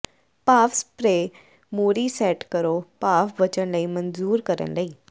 ਭਾਫ਼ ਸਪਰੇਅ ਮੋਰੀ ਸੈੱਟ ਕਰੋ ਭਾਫ਼ ਬਚਣ ਲਈ ਮਨਜੂਰ ਕਰਨ ਲਈ